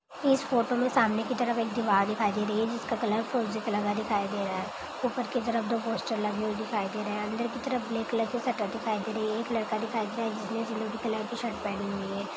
इस फोटो में सामने की तरफ एक दीवाल दिखाई दे रही है जिसका कलर फिरोजी कलर का दिखाई दे रहा है | ऊपर के तरफ दो पोस्टर लगे हुए दिखाई दे रहे हैं अंदर के तरफ ब्लैक की शटर दिखाई दे रहे हैं एक लड़का दिखाई दे रहा है जिसने सिलवटी कलर की शर्ट पहनी हुई है।